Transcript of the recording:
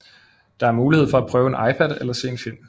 Der er mulighed for at prøve en iPad eller se en film